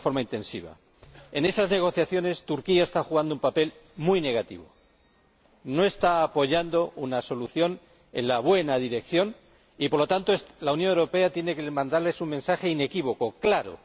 En esas negociaciones, Turquía está desempeñando un papel muy negativo. No está apoyando una solución en la buena dirección y, por lo tanto, la Unión Europea tiene que mandarle un mensaje inequívoco, claro.